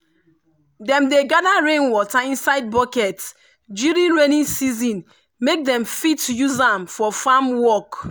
dem dey gather rainwater inside bucket during rainy season make dem fit use am for farm work.